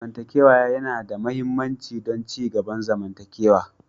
Zamantakewa yana da mahimmanci don ci gaban zamantakewa.